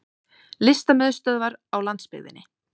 Listamiðstöðvar á landsbyggðinni!